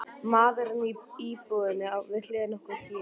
Maðurinn í íbúðinni við hliðina á okkur hét